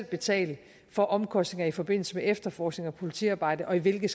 betale for omkostninger i forbindelse med efterforskning og politiarbejde og i hvilke